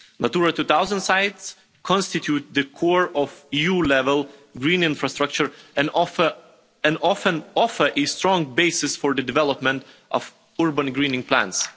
Natura 2000 sites constitute the core of EU level green infrastructure and often offer a strong basis for the development of urban greening plans.